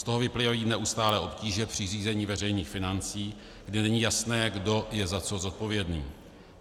Z toho vyplývají neustálé obtíže při řízení veřejných financí, kde není jasné, kdo je za co zodpovědný.